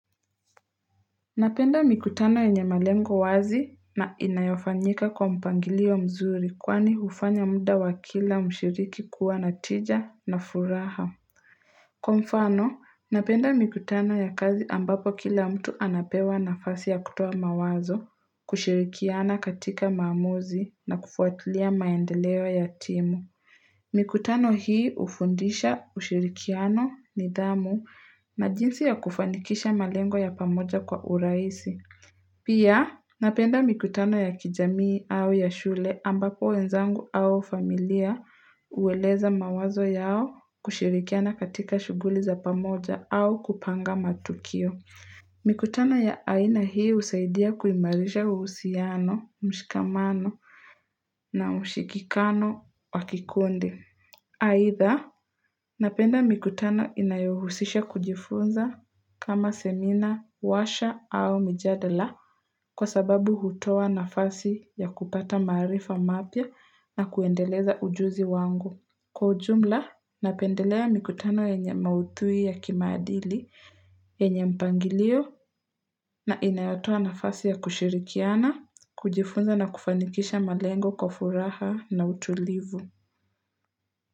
Napenda mikutano yenye malengo wazi na inayofanyika kwa mpangilio mzuri kwani hufanya mda wa kila mshiriki kuwa na tija na furaha. Kwa mfano, napenda mikutano ya kazi ambapo kila mtu anapewa nafasi ya kutoa mawazo, kushirikiana katika maamuzi na kufuatilia maendeleo ya timu. Mikutano hii ufundisha ushirikiano nidhamu na jinsi ya kufanikisha malengo ya pamoja kwa urahisi. Pia napenda mikutano ya kijamii au ya shule ambapo wenzangu au familia ueleza mawazo yao kushirikiana katika shuguli za pamoja au kupanga matukio. Mikutano ya aina hii husaidia kuimarisha uhsiano, mshikamano na ushikikano wa kikundi. Atha, napenda mikutano inayohusisha kujifunza kama semina, warsha au mijadala kwa sababu hutoa nafasi ya kupata maarifa mapya na kuendeleza ujuzi wangu. Kwa ujumla, napendelea mikutano yenye maudhui ya kimaadili, yenye mpangilio na inayatoa nafasi ya kushirikiana, kujifunza na kufanikisha malengo kwa furaha na utulivu.